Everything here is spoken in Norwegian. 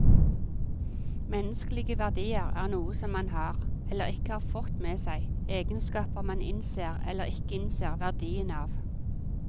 Menneskelige verdier er noe som man har, eller ikke har fått med seg, egenskaper man innser eller ikke innser verdien av.